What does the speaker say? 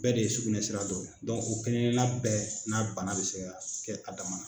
Bɛɛ de ye sugunɛ sira dɔw la. o kelenkelenna bɛɛ n'a bana bɛ se ka kɛ a dama na.